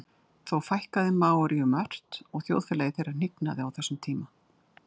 þó fækkaði maóríum ört og þjóðfélagi þeirra hnignaði á þessum tíma